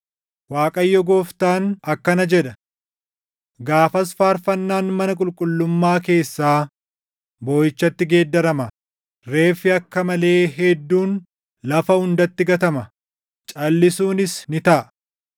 Waaqayyo Gooftaan akkana jedha; “Gaafas faarfannaan mana qulqullummaa keessaa booʼichatti geeddarama. Reeffi akka malee hedduun lafa hundatti gatama! Calʼisuunis ni taʼa!”